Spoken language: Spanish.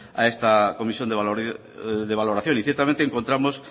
a esta comisión de valoración y ciertamente encontramos